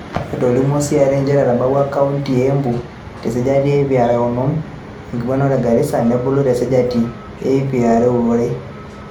Etolimuo CRA nchere etobulwa kaonti e Embu te sajati e ip are o onom o nguuan ore ene Garissa nebulu te sajati e ip are o are